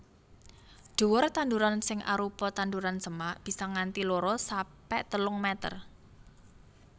Dhuwur tanduran sing arupa tanduran semak bisa nganti loro sampe telung meter